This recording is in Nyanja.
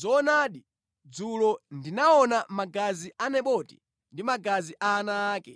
‘Zoonadi dzulo ndinaona magazi a Naboti ndi magazi a ana ake,